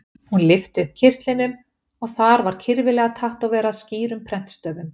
Hún lyfti upp kyrtlinum og þar var kyrfilega tattóverað skýrum prentstöfum